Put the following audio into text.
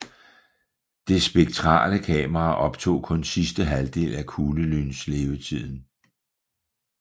Det spektrale kamera optog kun sidste halvdel af kuglelynslevetiden